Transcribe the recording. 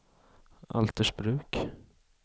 Altersbruk